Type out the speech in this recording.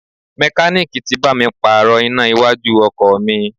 Mekaniiki tí bá mi pààrò iná iwájú ọkọ̀ mi.